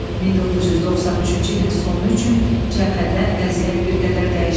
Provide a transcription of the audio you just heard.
1993-cü ilin sonu üçün cəbhədə vəziyyət bir qədər dəyişdi.